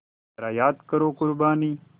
ज़रा याद करो क़ुरबानी